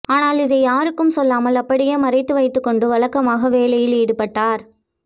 ஆனால் இதை யாருக்கும் சொல்லாமல் அப்படியே மறைத்துவைத்துக்கொண்டு வழக்கமாக வேலையில் ஈடுபட்டார்